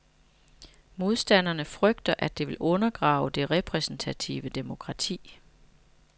Modstanderne frygter, at det vil undergrave det repræsentative demokrati.